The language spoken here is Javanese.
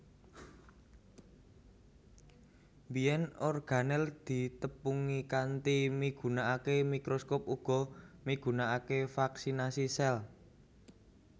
Biyèn organel ditepungi kanthi migunakaké mikroskop uga migunakaké fraksinasi sel